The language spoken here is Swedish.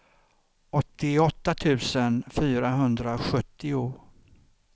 åttioåtta tusen fyrahundrasjuttio